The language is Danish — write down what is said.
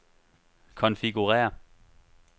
konfigurér